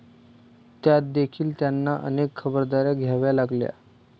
त्यातदेखील त्यांना अनेक खबरदाऱ्या घ्याव्या लागल्या.